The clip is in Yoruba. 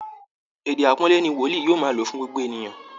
Èdè aàpọ́nlé ni Wòlíì yóò máa lo fún gbogbo ènìyàn